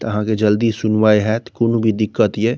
त आहां के जल्दी सुनवाई हात कुनू भी दिक्कत या।